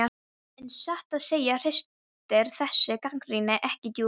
En satt að segja ristir þessi gagnrýni ekki djúpt.